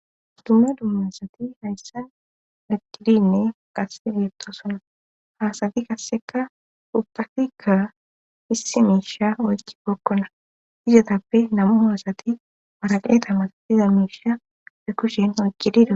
dumma dumma asati hayssan leqqidinne qasse biettosona haasadi kasseka uptafikka issi miisha oykki bokkona izatappe namu haasati maraqeeta matabiza miisha fe kushen oyqqidido